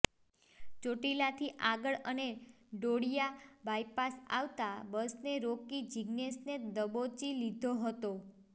ચોટીલાથી આગળ અને ડોળિયા બાયપાસ આવતા બસને રોકી જિગ્નેશને દબોચી લીધો હતો